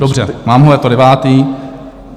Dobře, mám ho, je to devátý.